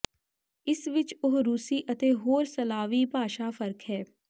ਇਸ ਵਿਚ ਉਹ ਰੂਸੀ ਅਤੇ ਹੋਰ ਸਲਾਵੀ ਭਾਸ਼ਾ ਫ਼ਰਕ ਹੈ